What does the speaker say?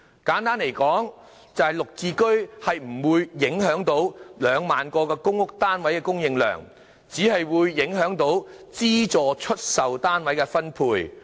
簡單說，就是"綠置居"不會影響2萬個公屋單位的供應量，只會影響資助出售單位的分配。